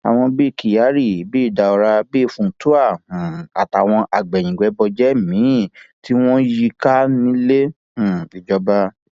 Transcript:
àwọn bíi kyari bíi daura bíi funtua um àtàwọn agbẹyìnbẹbọjẹ míín tí wọn yí i ká nílé um ìjọba